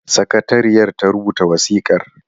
Sakatariyar ta ta rubuta wasikar.